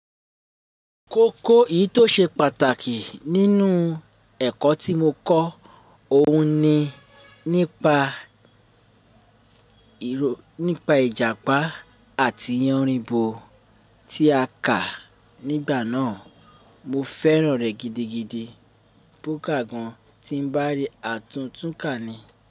Kókó èyí tó ṣe pàtàkì nínú ẹ̀kọ́ tí mo kọ́, òun ni nípa, nípa Ìjàpá àti Yánrinbo tí a kà nígbà náà. Mo fẹ́ràn rẹ̀ gidigidi. Pó ká gan tí ń bá rí àtúntún kà ni.